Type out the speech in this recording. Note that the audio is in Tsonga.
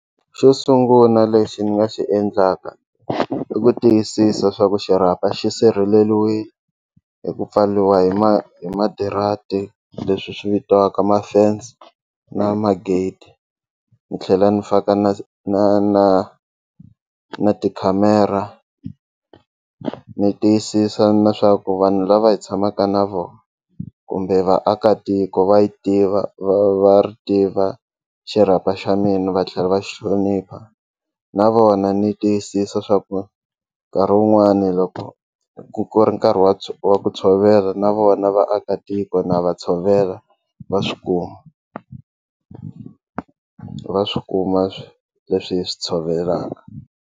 Xo sungula lexi ni nga xi endlaka i ku tiyisisa swa ku xirhapa xi sirheleriwile hi ku pfariwa hi ma hi madirati leswi swi vitiwaka ma fence na ma-gate ni tlhela ni faka na na na na tikhamera ni tiyisisa na swa ku vanhu lava hi tshamaka na vona kumbe vaakatiko va yi tiva va ri tiva xirhapa xa mina va tlhela va xi hlonipha na vona ni tiyisisa swa ku nkarhi wun'wani loko ku ri nkarhi wa wa ku tshovela na vona vaakatiko na va tshovela va swi kuma va swi kuma leswi hi swi tshovelaka.